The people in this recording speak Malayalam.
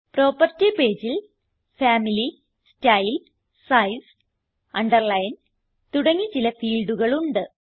പ്രോപ്പർട്ടി pageൽ ഫാമിലി സ്റ്റൈൽ സൈസ് അണ്ടർലൈൻ തുടങ്ങി ചില ഫീൽഡുകളുണ്ട്